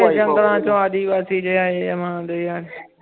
ਇਹ ਪ੍ਰੋਫੈਨੀਟੀ ਚੂ ਆਦਿ ਵਾਸੀ ਜੇ ਆਏ ਮਾਂ ਦੇ ਯਾਂ